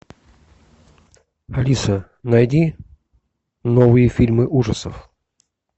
алиса найди новые фильмы ужасов